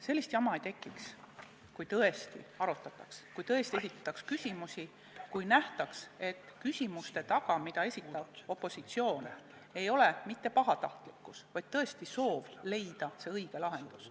Sellist jama ei tekiks, kui tõesti arutataks, kui tõesti esitataks küsimusi, kui nähtaks, et küsimuste taga, mida esitab opositsioon, ei ole mitte pahatahtlikkus, vaid siiras soov leida parim lahendus.